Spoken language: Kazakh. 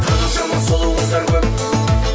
қаншама сұлу қыздар көп